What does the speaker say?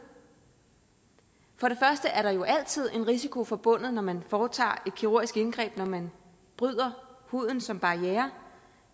for det første er der jo altid en risiko forbundet når man foretager et kirurgisk indgreb når man bryder huden som barriere